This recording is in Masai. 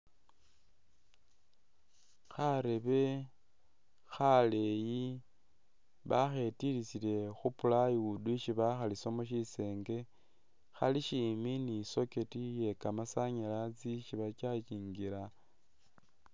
Karebe khaleyi baketikhisile khu plywood isi bakhalisamo shisenge khalishimbi ni socket iye kamasanyalaze isi ba charging'la